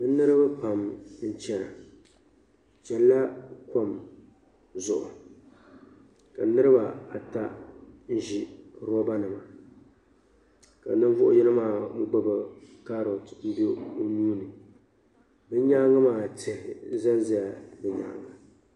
Niribi pam n chana bɛ chanila kom zuɣu ka niribaata n ʒi robanima ka ninvuɣu yino maa gbubi kaaroti bɛ nyaaŋa maa tihi zanza la ni maani.